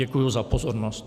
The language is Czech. Děkuji za pozornost.